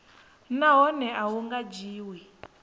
nahone a hu nga dzhiwi